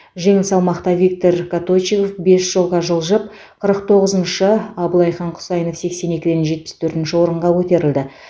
жеңіл салмақта виктор коточигов бес жолға жылжып қырық тоғызыншы абылайхан құсайынов сексен екіден жетпіс төртінші орынға көтерілді